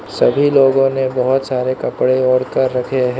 सभी लोगों ने बहोत सारे कपड़े ओढ़ कर रखे हैं।